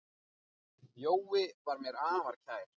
Jói var mér afar kær.